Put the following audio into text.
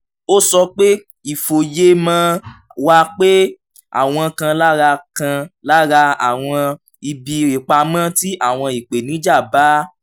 ó sọ pé ìfòyemọ̀ wà pé àwọn kan lára kan lára àwọn ibi ìpamọ́ tí àwọn ìpèníjà bá